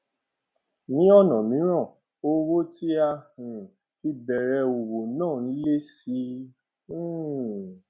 ní ònà míràn owó tí a um fi bèrè òwò náà n lé sí um i